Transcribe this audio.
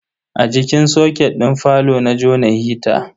A jikin soket din falo na jona hita.